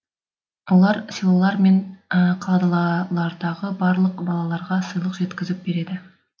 олар селолар мен қалалардағы барлық балаларға сыйлық жеткізіп береді